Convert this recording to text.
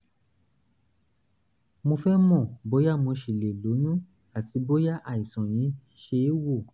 mo fẹ́ mọ̀ bóyá mo ṣì lè lóyún àti bóyá àìsàn yìí ṣe é wò